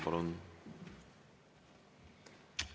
Palun!